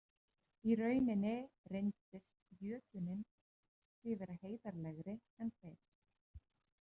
Í rauninni reyndist jötunninn því vera heiðarlegri en þeir.